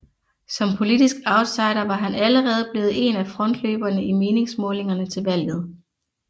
Som politisk outsider var han allerede blevet en af frontløberne i meningsmålingerne til valget